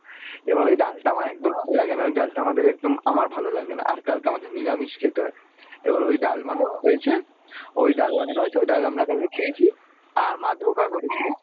এভাবে ঐ ডালটা আমার একদম ভালো লাগেনা ঐ ডালটা আমাদের একদম আমার ভালো লাগেনা আর কালকে আমাদের নিরামিষ খেতে হয় এবার ঐ ডাল বানানো হয়েছে ঐ ডাল বানানো হয়েছে ঐ ডাল আমরা কালকে খেয়েছি আর মা করেছিল